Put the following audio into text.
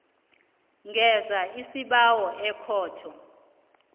ngenza isibawo ekhotho